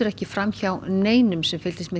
ekki fram hjá neinum sem fylgdist með